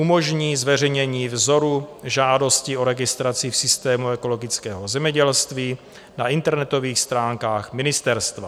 Umožní zveřejnění vzoru žádosti o registraci v systému ekologického zemědělství na internetových stránkách ministerstva.